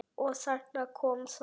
Og þarna kom það.